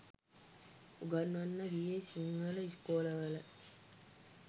උගන්වන්න ගියේ සිංහල ඉස්කෝලවල